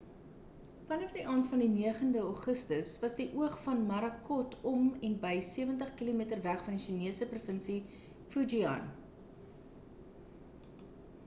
vanaf die aand van die 9e augustus was die oog van morakot om en by sewentig kilometer weg van die chinese provinsie fujian